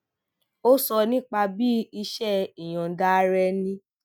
ó sọ nípa bí iṣé ìyòǹda ara ẹni